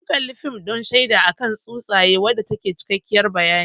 Mun kalli fim din shaida akan tsutsaye wanda tayi cikakkiyar bayani